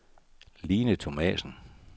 Line Thomassen